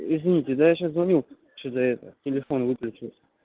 извините да я сейчас звоню ещё до этого телефон выключился